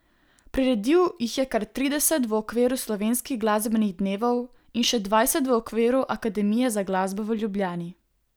Priredil jih je kar trideset v okviru Slovenskih glasbenih dnevov in še dvajset v okviru Akademije za glasbo v Ljubljani.